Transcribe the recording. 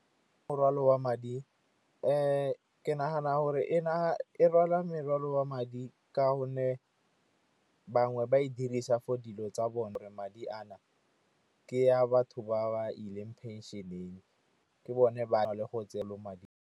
Morwalo wa madi ke nagana gore e rwala morwalo wa madi, ka gonne bangwe ba e dirisa for dilo tsa bone. Madi a na ke a batho ba ba ileng phenšeneng, ke bone ba na le go tseelwa madi.